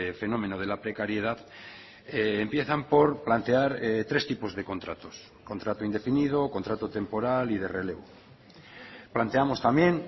fenómeno de la precariedad empiezan por plantear tres tipos de contratos contrato indefinido contrato temporal y de relevo planteamos también